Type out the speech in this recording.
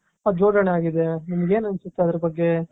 ಜೋಡಣೆಯಾಗಿದೆ ನಿಮಗೇನು ಅನ್ಸುತ್ತೆ ಅದರ ಬಗ್ಗೆ.